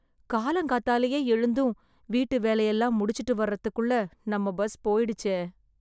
காலங்காத்தாலயே எழுந்தும், வீட்டு வேலையெல்லாம் முடிச்சுட்டு வர்றதுக்குள்ள, நம்ம பஸ் போய்டுச்சே....